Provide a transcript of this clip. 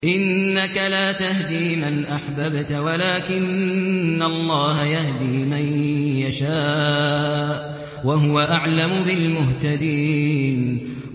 إِنَّكَ لَا تَهْدِي مَنْ أَحْبَبْتَ وَلَٰكِنَّ اللَّهَ يَهْدِي مَن يَشَاءُ ۚ وَهُوَ أَعْلَمُ بِالْمُهْتَدِينَ